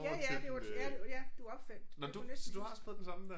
Ja ja det var ja ja du opfandt du læste den